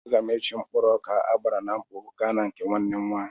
Aga m eji mkpụrụ ọka agbara na mkpọ gaa na nke nwanne m nwaanyị.